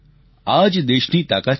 આ જ દેશની તાકાત છે